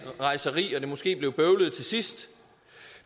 rejseri og at det måske blev bøvlet til sidst